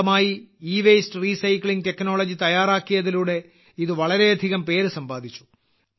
സ്വന്തമായി e waste recycling technology തയ്യാറാക്കിയതിലൂടെ ഇത് വളരെയധികം പേര് സമ്പാദിച്ചു